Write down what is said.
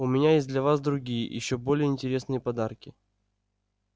у меня есть для вас другие ещё более интересные подарки